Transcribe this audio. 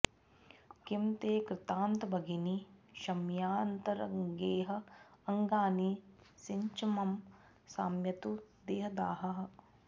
किम् ते कृतान्तभगिनि क्षमया तरन्गैः अङ्गानि सिङ्च मम शाम्यतु देहदाहः